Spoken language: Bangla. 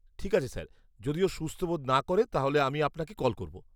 ঠিক আছে স্যার, যদি ও সুস্থ বোধ না করে তাহলে আমি আপনাকে কল করব।